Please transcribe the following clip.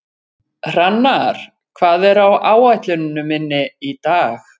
Hrannar, hvað er á áætluninni minni í dag?